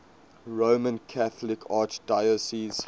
roman catholic archdiocese